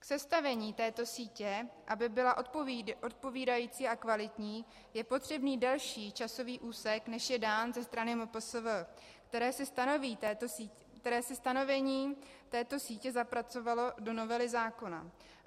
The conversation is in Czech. K sestavení této sítě, aby byla odpovídající a kvalitní, je potřebný delší časový úsek, než je dán ze strany MPSV, které si stanovení této sítě zapracovalo do novely zákona.